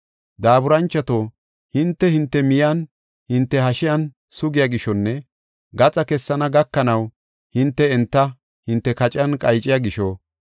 Daaburanchota, hinte, hinte miyanne hinte hashiyan sugiya gishonne gaxa kessana gakanaw hinte enta hinte kaciyan qayciya gisho,